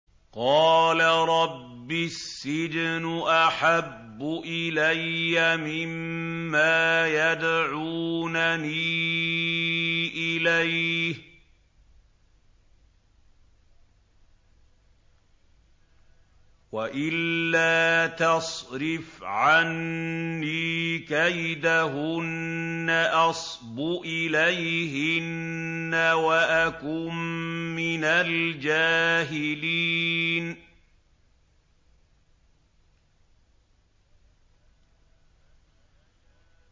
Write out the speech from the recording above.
قَالَ رَبِّ السِّجْنُ أَحَبُّ إِلَيَّ مِمَّا يَدْعُونَنِي إِلَيْهِ ۖ وَإِلَّا تَصْرِفْ عَنِّي كَيْدَهُنَّ أَصْبُ إِلَيْهِنَّ وَأَكُن مِّنَ الْجَاهِلِينَ